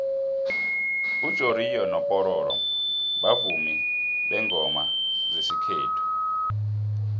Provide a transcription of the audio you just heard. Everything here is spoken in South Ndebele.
ujoriyo mopororo bavumi bengoma zesikllethu